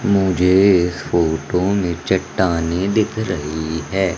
मुझे इस फोटो में चट्टानें दिख रही हैं।